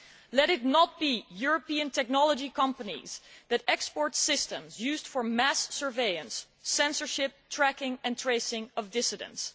Let it not be European technology companies that export systems used for mass surveillance, censorship tracking and tracing of dissidents.